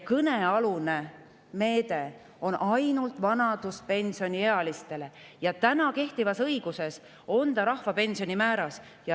Kõnealune meede on ainult vanaduspensioniealistele ja kehtivas õiguses on see ette nähtud rahvapensioni määras.